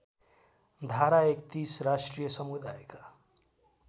धारा ३१ राष्ट्रिय समुदायका